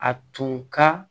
A tun ka